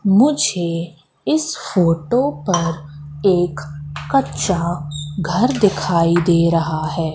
मुझे इस फोटो पर एक कच्चा घर दिखाई दे रहा है।